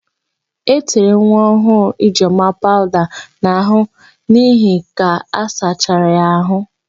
E tere nwaọhụụ Ijeọma pawụda n'àhụ́ niile ka a sachara ya àhụ́.